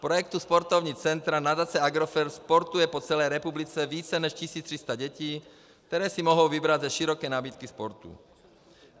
V projektu Sportovní centra nadace Agrofert sportuje po celé republice více než 1 300 dětí, které si mohou vybrat ze široké nabídky sportů.